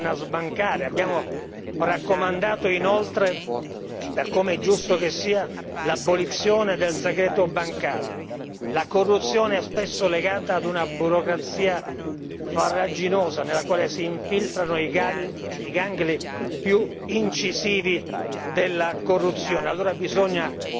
Abbiamo raccomandato inoltre per come è giusto che sia l'abolizione del segreto bancario la corruzione è spesso legata a una burocrazia farraginosa nella quale si infiltrano i gangli più incisivi della corruzione e allora bisogna che gli Stati membri